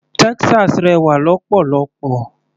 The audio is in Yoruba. Texas rẹwà lọ́pọ̀lọ́pọ̀.